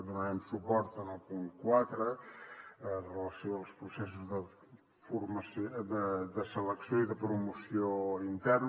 donarem suport en el punt quatre amb relació als processos de selecció i de promoció interna